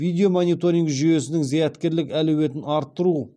видеомониторинг жүйесінің зияткерлік әлеуетін арттыру